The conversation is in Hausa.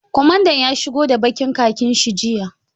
Kwamandan ya shigo da ɓakin khakin shi jiya.